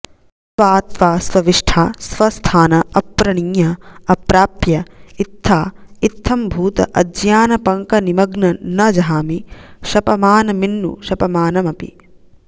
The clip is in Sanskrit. त्वा त्वा स्वविष्ठा स्वस्थान अप्रणीय अप्रापय्य इत्था इत्थभूत अज्ञानपङ्कनिमग्न न जहामि शपमानमिन्नु शपमानमपि